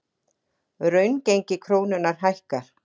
Raungengi krónunnar hækkar